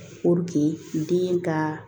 den ka